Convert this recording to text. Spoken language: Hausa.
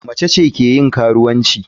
Mace ce ke yin karuwanci.